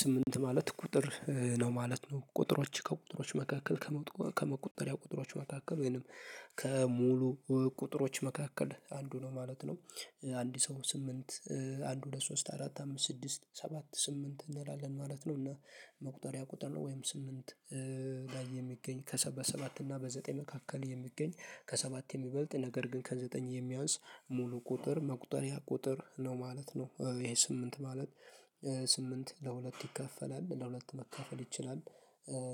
ስምንት ማለት ቁጥር ነው ማለት ነው ቁጥሮች ከቁጥሮች መካከል ከመቁጠሪያ ቁጥሮች መካከል ወይንም ከሙሉ ቁጥሮች መካከል አንዱ ነው ማለት ነው። አንድ ሰው ስምንት አንድ ሁለት ሶስት አራት አምስት ስድስት ሰባት ስምንት እንላለን ማለት ነው እና መቁጠሪያ ቁጥር ነው። ወይም ስምንት ጋ የሚገኝ ከሰ በሰባት እና በዘጠኝ መካከል የሚገኝ ከሰባት የሚበልጥ ነገር ግን ከዘጠኝ የሚያንስ ሙሉ ቁጥር መቁጠሪያ ቁጥር ነው ማለት ነው። ይሄ ስምንት ማለት ስምንት ለሁለት ይካፈላል ለሁለት መካፈል ይችላል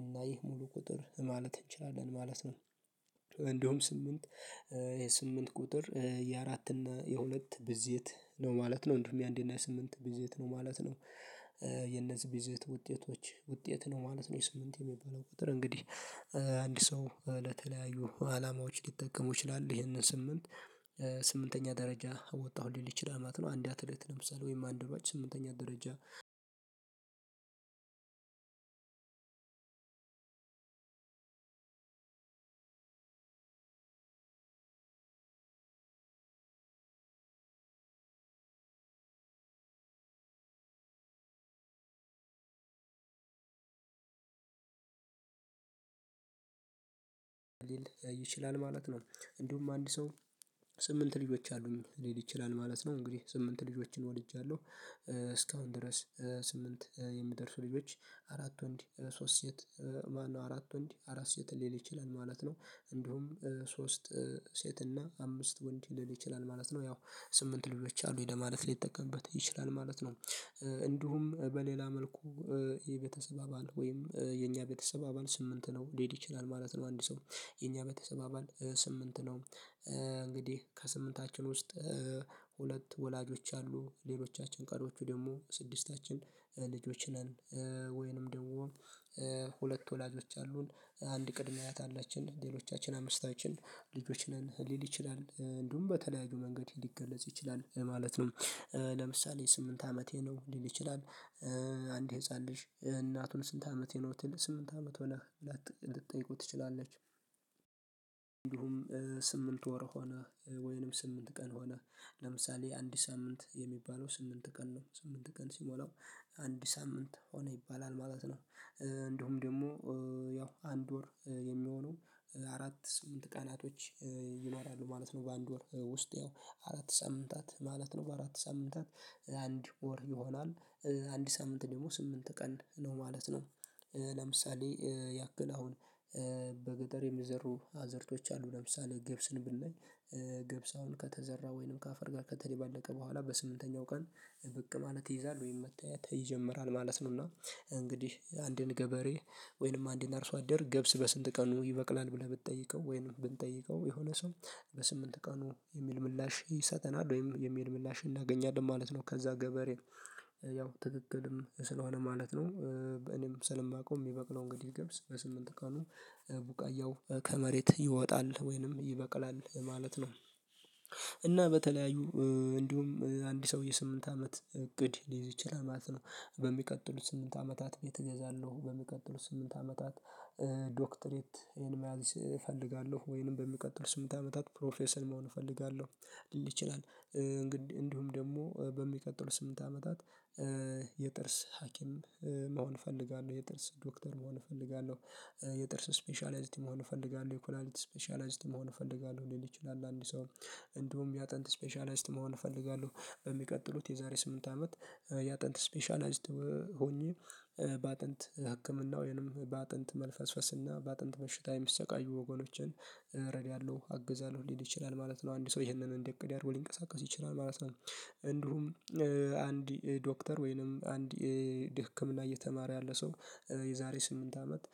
እና ይህ ሙሉ ቁጥር ማለት እንችላለን ማለት ነው። እንደውም ስምንት የስምንት ቁጥር የአራት እና የሁለት ብዜት ነው ማለት ነው እንዲሁም የአንድ እና የስምንት ብዜት ነው ማለት ነው። የነዚህ ብዜት ውጤቶች ውጤት ነው ማለት ነው ይሄ ስምንት የሚባለው ቁጥር እንግዲህ። አንድ ሰው ለተለያዩ አላማዎች ሊጠቀመው ይችላል ይሄንን ስንል ስምንተኛ ደረጃ ወጣሁ ሊል ይችላል ማለት ነው። አንድ አትሌት ለምሳሌ ወይም አንድ ሯጭ ስምንተኛ ደረጃ አንድ ይችላል ማለት ነው። እንዲሁም አንድ ሰው ስምንት ልጆች አሉኝ ሊል ይችላል ማለት ነው እንግዲህ ስምንት ልጆችን ወልጃለሁ። ድረስ ስምንት የሚደርሱ ልጆች አራት ወንድ ሶስት ሴት ማነው አራት ወንድ አራት ሴት ሊል ይችላል ማለት ነው። እንዲሁም ሶስት ሴት እና አምስት ወንድ ሊል ይችላል ማለት ነው ያው ስምንት ልጆች አሉኝ ለማለት ሊጠቀምበት ይችላል ማለት ነው። እንዲሁም በሌላ መልኩ የቤተሰብ አባል ወይም የኛ ቤተሰብ አባል ስምንት ነው ሊል ይችላል ማለት ነው አንድ ሰው የኛ ቤተሰብ አባል ስምንት ነው። እንግዲህ ከስምንታችን ውስጥ ሁለት ወላጆች አሉ ሌሎቻችን ቀሪዎቹ ደግሞ ስድስታችን ልጆች ነን። ወይንም ደግሞ ሁለት ወላጆች አሉን አንድ ቅድመ አያት አለችን ሌሎቻችን አምስታችን ልጆች ነን ሊል ይችላል እንዲሁም በተለያዩ መንገድ ሊገለጽ ይችላል ማለት ነው። ለምሳሌ ስምንት አመቴ ነው ሊል ይችላል አንድ ህፃን ልጅ እናቱን ስንት አመቴ ነው ሲል ስምንት አመት ሆነህ ብላ ልትጠይቀው ትችላለች። እንዲሁም ስምንት ወር ሆነህ ወይንም ስምንት ቀን ሆነህ ለምሳሌ አንድ ሳምንት የሚባለው ስምንት ቀን ነው ስምንት ቀን ሲሞላው አንድ ሳምንት ሆነ ይባላል ማለት ነው። እንድሁም ደግሞ ያው አንድ ወር የሚሆነው አራት ስምንት ቀናቶች ይኖራሉ ማለት ነው። በአንድ ወር ውስጥ ያው አራት ሳምንታት ማለት ነው አራት ሳምንታት አንድ ወር ይሆናል። አንድ ሳምንት ደግሞ ስምንት ቀን ነው ማለት ነው። ለምሳሌ ያክል አሁን በገጠር የሚዘሩ አዘርቶች አሉ ለምሳሌ ገብስን ብናይ ገብስ አሁን ከተዘራ ወይንም ከአፈር ጋር ከተደባለቀ በኋላ በስምንተኛው ቀን ብቅ ማለት ይይዛል ወይም መታየት ይጀምራል ማለት ነው። እና እንግዲህ አንድን ገበሬ ወይንም አንድን አርሶ አደር ገብስ በስንት ቀኑ ይበቅላል ብለህ ብትጠይቀው ወይንም ብንጠይቀው የሆነ ሰው በስምንት ቀኑ የሚል ምላሽ ይሰጠናል ወይም የሚል ምላሽ እናገኛለን ማለት ነው። ከዛ ገበሬን ያው ትክክልም ስለሆነ ማለት ነው እኔም ስለማውቀው የሚበቅለው እንግዲህ ገብስ በስምንት ቀኑ ቡቃያው ከመሬት ይወጣል ወይንም ይበቅላል ማለት ነው። እና በተለያዩ እንዲሁም አንድ ሰውዬ ስምንት አመት እቅድ ሊይዝ ይችላል ማለት ነው። በሚቀጥሉት ስምንት አመታት ቤት እገዛለሁ በሚቀጥሉት ስምንት አመታት ዶክትሬት ይሄን መያዝ እፈልጋለሁ ወይንም በሚቀጥሉት ስምንት አመታት ፕሮፌሰር መሆን እፈልጋለሁ። ሊል ይችላል እንግዲህ እንዲሁም ደግሞ በሚቀጥለው ስምንት አመታት የጥርስ ሀኪም መሆን እፈልጋለሁ የጥርስ ዶክተር መሆን እፈልጋለሁ። የጥርስ ስፔሻላይዝድ መሆን እፈልጋለሁ የኩላሊት ስፔሻላይዝድ መሆን እፈልጋለሁ ሊል ይችላል። አንድ ሰው እንዲሁም የአጥንት ስፔሻላይዝድ መሆን እፈልጋለሁ በሚቀጥሉት የዛሬ ስምንት አመት የአጥንት ስፔሻላይዝድ ሆኜ በአጥንት ህክምና ወይንም በአጥንት መልፈስፈስና በአጥንት በሽታ የሚሰቃዩ ወገኖችን እረዳለሁ አግዛለሁ ሊል ይችላል ማለት ነው። አንድ ሰው ይሄንን እንደ እቅድ አድርጎ ሊንቀሳቀስ ይችላል ማለት ነው። እንዲሁም አንድ ዶክተር ወይንም አንድ እንደ ህክምና እየተማረ ያለ ሰው የዛሬ ስምንት አመት።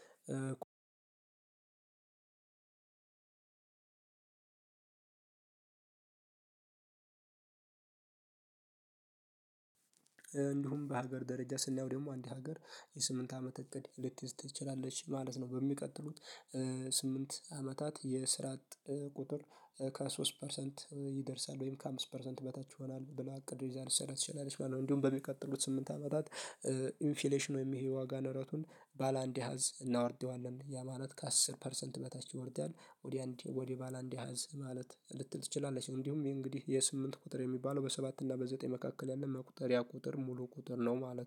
እንዲሁም በሀገር ደረጃ ስናየው ደግሞ አንድ ሀገር የስምንት አመት እቅድ ልትይዝ ትችላለች ማለት ነው። በሚቀጥሉት ስምንት አመታት የስራ አጥ ቁጥር ከሶስት ፐርሰንት ይደርሳል ወይም ከአምስት ፐርሰንት በታች ይሆናል ብላ እቅድ ይዛ ልትሰራ ትችላለች ማለት ነው። እንዲሁም በሚቀጥሉት ስምንት አመታት ኢንፍሌሽን ወይም ይሄ ዋጋ ንረቱን ባለአንድ አሃዝ እናውርዴዋለን ያ ማለት ከአስር ፐርሰንት በታች ይወርዳል ወደ አንድ ወደ ባለ አንድ አሀዝ ማለት ልትል ትችላለች። እንዲሁም ይሄ እንግዲህ ይሄ ስምንት ቁጥር የሚባለው በሰባት እና በዘጠኝ መካከል ያለ መቁጠሪያ ቁጥር ሙሉ ቁጥር ነው ማለት ነው